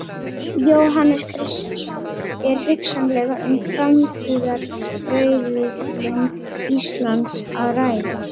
Jóhannes Kristjánsson: Er hugsanlega um framtíðarauðlind Íslands að ræða?